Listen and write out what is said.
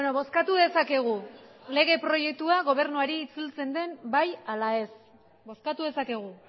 bozkatu dezakegu lege proiektua gobernuari itzultzen den bai ala ez bozkatu dezakegu